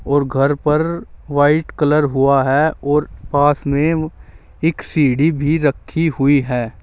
और घर पर वाइट कलर हुआ है और पास में एक सीढ़ी भी रखी हुई है।